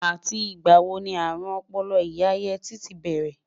àti ìgba wò ní arun Opolo ìyá yeti tí bẹrẹ?